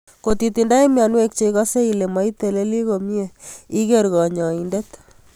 Kotitindoi mionwek che ikase ile maitelele komiee iker kanyoindet.